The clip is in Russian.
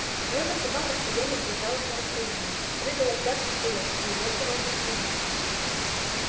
но эта собака все время держалась на расстоянии прыгала взад и вперёд и увёртывалась от него